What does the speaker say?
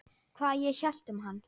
Hvað ég hélt um hann?